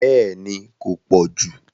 Bẹ́ẹ̀ni kò pọ̀jù